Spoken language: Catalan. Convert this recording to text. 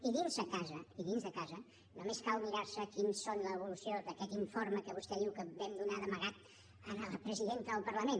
i dins de casa i dins de casa només cal mirar se quina és l’evolució d’aquest informe que vostè diu que vam donar d’amagat a la presidenta del parlament